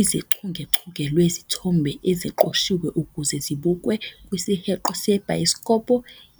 izichungechunge lwezithombe eziqoshiwe ukuze zibukwe kwisiheqo sebhayisikopo.